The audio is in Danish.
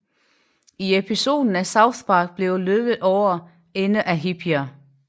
I episoden er South Park blevet løbet over ende af hippier